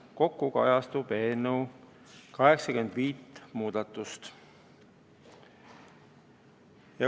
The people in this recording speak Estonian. Kokku kajastab eelnõu 85 muudatust.